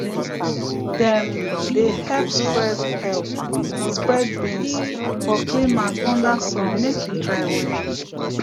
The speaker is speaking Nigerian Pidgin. dem dey help spread help spread beans for clean mat under sun make e dry well